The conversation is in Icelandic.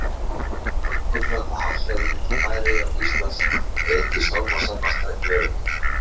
Það er alkunna, að hafsvæðið milli Færeyja og Íslands er eitt hið stormasamasta í veröldinni.